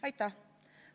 Aitäh!